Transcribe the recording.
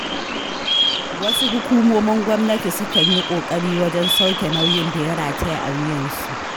Wasu hukumomin gwamnati sukan yi ƙoƙari wajen sauke nauyin da ya rataya a wuyansu.